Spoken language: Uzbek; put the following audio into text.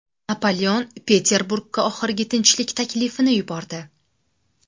Napoleon Peterburgga oxirgi tinchlik taklifini yubordi.